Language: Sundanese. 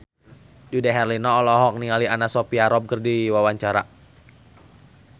Dude Herlino olohok ningali Anna Sophia Robb keur diwawancara